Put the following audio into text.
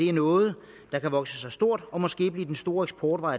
er noget der kan vokse sig stort og måske blive den store eksportvare